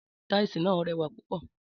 Tàísì nà rẹ wà pọ.